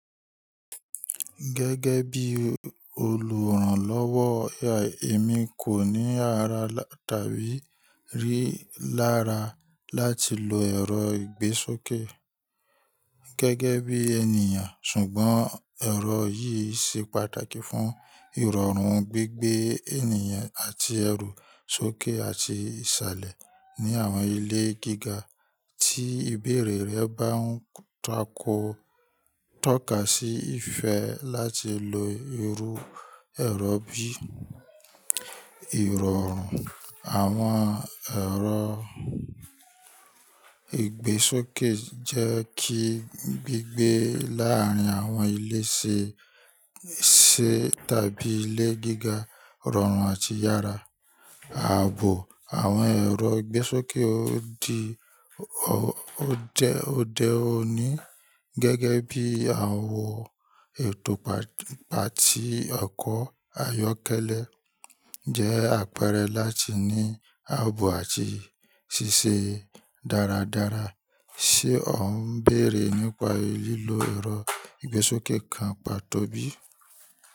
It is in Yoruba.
Gẹ́gẹ́ bí olùrànlọ́wọ́, èmi kò ní àrà tàbí rí lára láti lo ẹ̀rọ ìgbésókè gẹ́gẹ́ bí ènìyàn, ṣùgbọ́n ẹ̀rọ yìí ṣe pàtàkì fún ìrọ̀rùn gbígbé ènìyàn àti ẹrù sókè àti ìsàlẹ̀ ní àwọn ilé gíga. Tí ìbéèrè rẹ bá ń takọ tọ́ka sí ìfẹ́ láti lo irú ẹ̀rọ bí, ìrọ̀rùn àwọn ẹ̀rọ ìgbésókè jẹ́ kí gbígbé láàárín àwọn ilé ṣe tàbí ilé gíga rọrùn àti yára. Ààbò àwọn ẹ̀rọ ìgbésókè ó di ó jẹ òde òní gẹ́gẹ́ bí àwọ̀ ètò pati ọkọ̀ ayọ́kẹ́lẹ́ jẹ́ àpẹẹrẹ láti ní ààbò àti ṣíṣe dáradára. Ṣé ọ̀ ń béèrè nípa lílo ẹ̀rọ ìgbésókè kan pàtó bí?